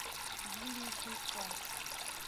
юлии шейко